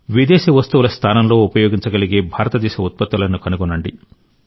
విదేశీ వస్తువుల స్థానంలో ఉపయోగించగలిగే భారతదేశ ఉత్పత్తులను కనుగొనండి